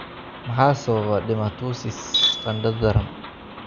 Maxaa sababa dermatosis qandho daran?